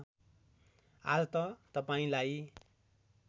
आज त तपाईँलाई